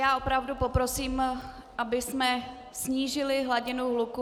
Já opravdu poprosím, abychom snížili hladinu hluku.